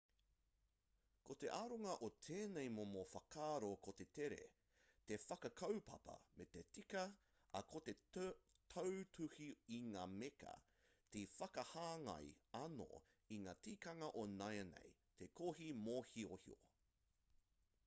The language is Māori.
ko te aronga o tēnei momo whakaaro ko te tere te whakakaupapa me te tika ā ko te tautuhi i ngā meka te whakahāngai anō i ngā tikanga o nāianei te kohi mōhiohio